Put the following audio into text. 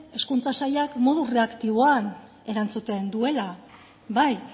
hezkuntza sailak modu erreaktiboan erantzuten duela bai